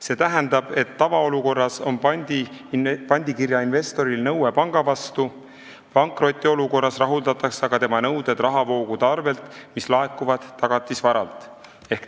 See tähendab, et tavaolukorras on pandikirja investoril nõue panga vastu, pankrotiolukorras rahuldatakse aga tema nõuded rahavoogude arvel, mis laekuvad tagatisvaralt.